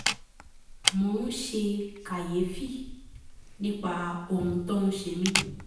mo ń ṣe kàyéfì nípa ohun tó ń ṣe mí